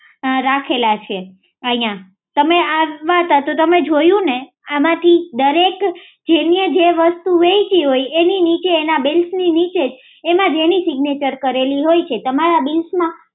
રાખેલા છે અહી તમે જોયું ને આમાંથી દરેક સેરી જે વસ્તુ હોય છે એની નીચે એના બિલ્સ ની નીચે એના જેવું સિગ્નેચર કરેલું હોય છે તમારા બીલ્સ માં